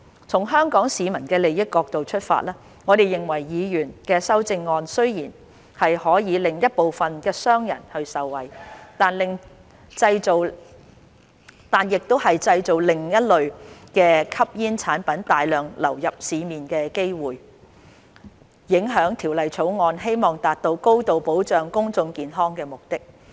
從香港市民的利益角度出發，我們認為議員的修正案雖然可令一部分商人受惠，但亦製造另類吸煙產品大量流入市面的機會，影響《條例草案》希望達到高度保障公眾健康的目的。